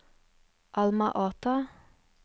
Alma Ata